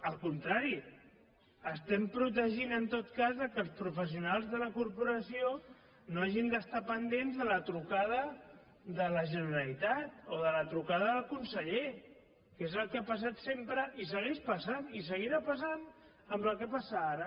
al contrari estem protegint en tot cas que els professionals de la cor poració no hagin d’estar pendents de la trucada de la generalitat o de la trucada del conseller que és el que ha passat sempre i segueix passant i seguirà passant amb el que passa ara